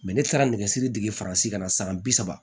ne taara nɛgɛsiri dege faransi kana san bi saba